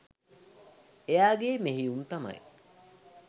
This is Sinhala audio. එයාගේ මෙහෙයුම් තමයි